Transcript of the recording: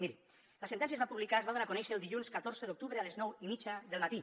miri la sentència es va publicar es va donar a conèixer el dilluns catorze d’octubre a les nou i mitja del matí